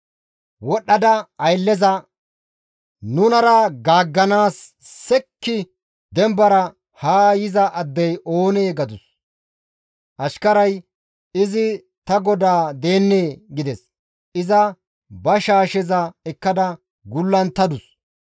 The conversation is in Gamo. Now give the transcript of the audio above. Wodhdhada aylleza, «Nunara gaagganaas sekki dembara haa yiza addey oonee?» gadus. Ashkarazi, «Izi ta godaa deennee» gides; iza ba shaasheza ekkada gullunttadus.